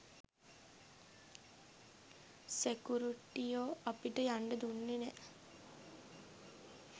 සෙකුරිටියෝ අපිට යන්ඩ දුන්නේ නැහැ.